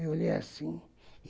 Eu olhei assim.